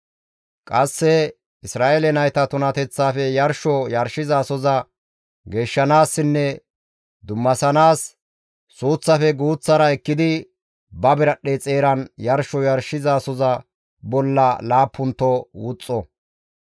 Qasse Isra7eele nayta tunateththafe yarsho yarshizasoza geeshshanaassinne dummasanaas suuththaafe guuththara ekkidi ba biradhdhe xeeran yarsho yarshizasoza bolla laappunto wuxxo.